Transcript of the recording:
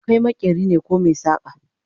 Kai maƙeri ne koh maisaka?